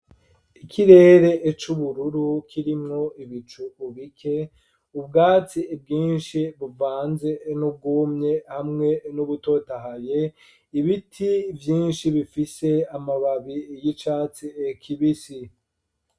Ikirere c'ubururu, kirimwo ibicu bike ,ubwatsi bwinshi buvanze n'ubwumye ,hamwe n'ubutotahaye ibiti vyinshi bifise amababi y'icatsi kibisi.